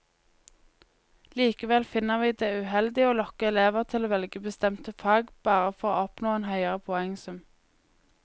Likevel finner vi det uheldig å lokke elever til å velge bestemte fag bare for å oppnå en høyere poengsum.